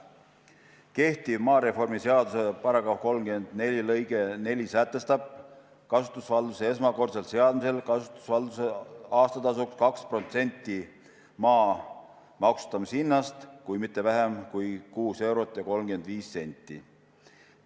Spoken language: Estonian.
Kehtiva maareformi seaduse § 341 lõige 4 sätestab kasutusvalduse esmakordsel seadmisel kasutusvalduse aastatasuks 2% maa maksustamishinnast, kuid mitte vähem kui 6 eurot ja 35 senti.